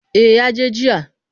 Eh ya je jiya.